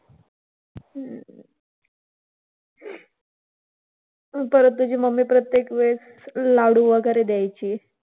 परत तुझी mummy प्रत्येक वेळेस लाडू वगैरे द्यायची.